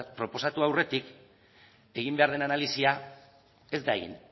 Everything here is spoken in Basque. proposatu aurretik egin behar den analisia ez da egin